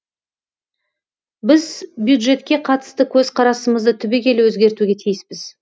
біз бюджетке қатысты көзқарасымызды түбегейлі өзгертуге тиіспіз